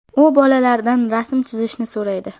U bolalardan rasm chizishni so‘raydi.